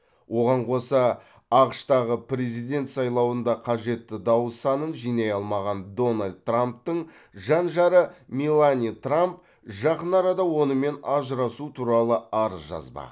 оған қоса ақш тағы президент сайлауында қажетті дауыс санын жинай алмаған дональд трамптың жан жары мелания трамп жақын арада онымен ажырасу туралы арыз жазбақ